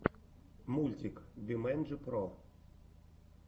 мультик бимэнджи про